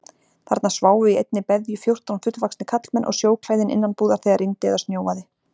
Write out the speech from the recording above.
Þarna sváfu í einni beðju fjórtán fullvaxnir karlmenn og sjóklæðin innanbúðar þegar rigndi eða snjóaði.